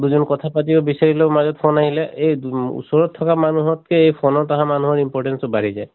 দুজন কথা পাতিব বিচাৰিলেও মাজত phone আহিলে এই দুম ওচৰত থকা মানুহত কে এই phone ত আহা মানুহৰ importance টো বাঢ়ি যায়।